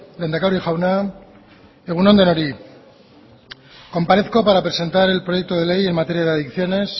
lehendakari jauna egun on denoi comparezco para presentar el proyecto de ley en materia de adicciones